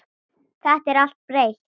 Það er allt breytt.